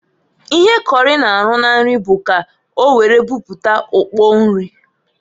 Ihe kọrị na-arụ na nri bụ ka owere buputa ukpo nri.